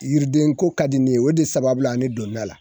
Yiridenko ka di ne ye o de sababula a ne donn'a la.